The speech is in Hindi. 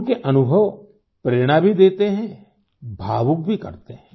उनके अनुभव प्रेरणा भी देते है भावुक भी करते है